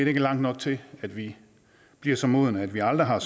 ikke langt nok til at vi bliver så modne at vi aldrig har